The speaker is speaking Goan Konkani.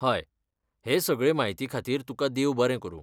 हय, हे सगळे म्हायती खातीर तुकां देव बरें करूं.